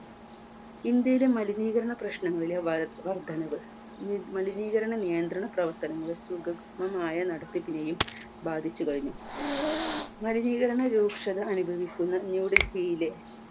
ഇന്ത്യയുടെ മലിനീകരണ പ്രശ്നങ്ങളിലെ വർ വർദ്ധനവ് മ് മലിനീകരണ നിയന്ത്രണ പ്രവർത്തനങ്ങളെ സ് സുഗമമായ നടത്തിപ്പിനെയും ബാധിച്ചു കഴിഞ്ഞു മലിനീകരണ രൂക്ഷത അനുഭവിക്കുന്ന new delhi യിലെ